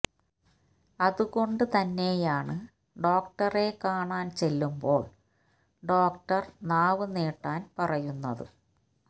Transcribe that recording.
അതുകൊണ്ട് തന്നെയാണ് ഡോക്ടറെ കാണാന് ചെല്ലുമ്പോള് ഡോക്ടര് നാവ് നീട്ടാന് പറയുന്നത്